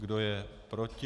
Kdo je proti?